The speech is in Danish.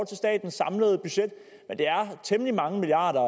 til statens samlede budget men det er temmelig mange milliarder